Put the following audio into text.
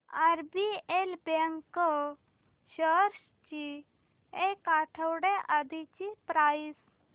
RBL bank shares ची एक आठवड्या आधीची प्राइस